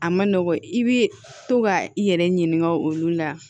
A ma nɔgɔn i bɛ to ka i yɛrɛ ɲininka olu la